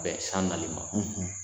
Bɛ san nali ma.